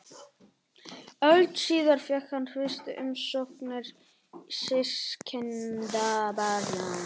Öld síðar fékk hann fyrstu umsóknir systkinabarna.